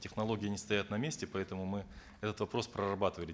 технологии не стоят на месте поэтому мы этот вопрос прорабатывали